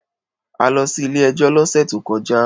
A lọ sí ilé-ẹjọ́ lọ́sè tó kọjá.